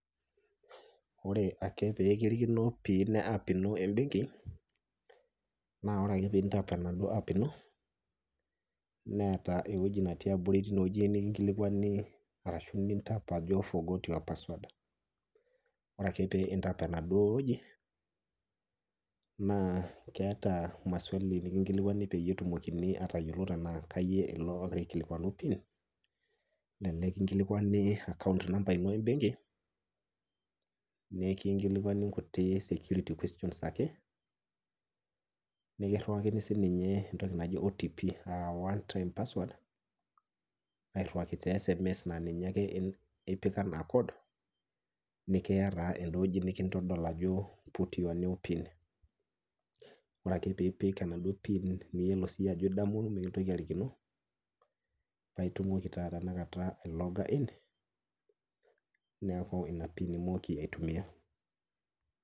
Ore ake pee kirikino piin eap ino embenki, naa ore ake pee intap enaduo ap ino neeta eweji tine tiabori nikijokini tap to forget your password ore ake pee intap ineweji naa keeta maswali nikinkilikwani pe etumonini atayiolouni tena keyieu ogira aikilikuanu tine ,kelelek kinkilikwani akaont namba ino embenki ,nikinkilikwani nkuti security questions ake nikirewakini siininye entoki naji OTP a one time password airiwaki teesms naa ninye ake ipik enaa code neeta eweji nikintodol ajo put your new pin. ore ake pee ipik enaduo piin niyiolo siiyie ajo mikintoki arikino, naitumoki taa tenakata ailoga iin neeku ina piin imooki aitumiyia.